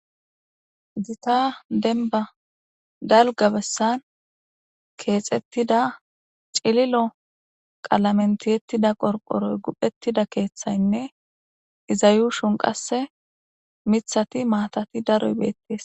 Zita denba dalga bessan keexettida cililo qalamentiyettida qorqoroy guphettida keeththaynne izayu shun qasse mithati maatati daro hibeettes.